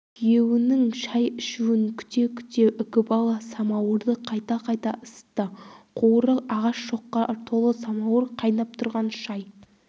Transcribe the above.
күйеуінің шай ішуін күте-күте үкібала самауырды қайта-қайта ысытты қуыры ағаш шоққа толы самауыр қайнап тұрған шай